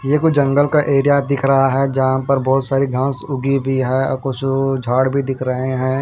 ये को जंगल का एरिया दिख रहा है जहां पर बहुत सारी घास उगी हुई है और कुछ झाड़ भी दिख रहे हैं।